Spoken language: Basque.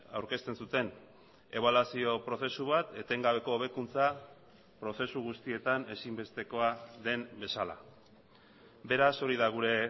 aurkezten zuten ebaluazio prozesu bat etengabeko hobekuntza prozesu guztietan ezinbestekoa den bezala beraz hori da gure